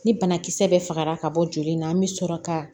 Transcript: Ni banakisɛ bɛ fagara ka bɔ joli in na an be sɔrɔ ka